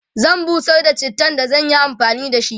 zan busar da chittan da zan Yi amfani da shi